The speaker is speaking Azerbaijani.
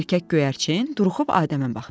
Erkək göyərçin duruxub Adəmə baxdı.